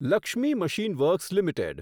Lakshmi machine works limited